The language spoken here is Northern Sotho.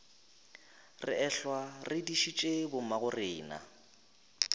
re ehlwa re dišitše bommagorena